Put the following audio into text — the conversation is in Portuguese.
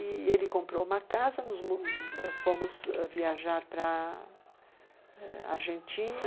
E ele comprou uma casa, fomos viajar para a Argentina,